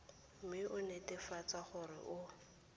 mme o netefatse gore o